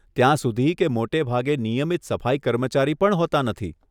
ત્યાં સુધી કે મોટે ભાગે નિયમિત સફાઈ કર્મચારી પણ હોતાં નથી.